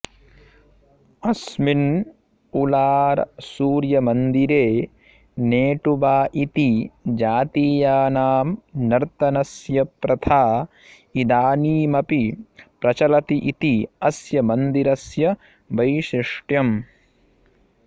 अस्मिन् उलारसूर्यमन्दिरे नेटुवा इति जातीयानां नर्तनस्य प्रथा इदानीमपि प्रचलति इति अस्य मन्दिरस्य वैशिष्ट्यम्